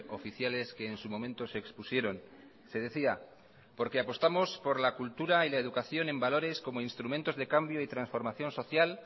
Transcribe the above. oficiales que en su momento se expusieron se decía porque apostamos por la cultura y la educación en valores como instrumentos de cambio y transformación social